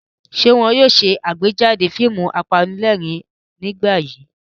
Ṣé wọn yóò ṣàgbéjáde fíìmù apanílẹ̀rín nígbà yìí?